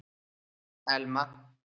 Elma